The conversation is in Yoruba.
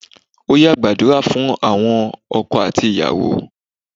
Óyá gbàdúrà fún àwọn ọkọ àti ìyàwó.